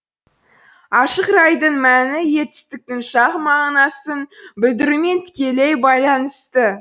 ашық райдың мәні етістіктің шақ мағынасын білдірумен тікелей байланысты